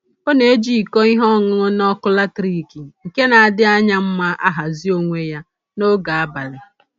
Ọ na-eji iko ihe ọṅụṅụ na ọkụ latriki nke na-adị anya mma ahazi onwe ya n'oge abalị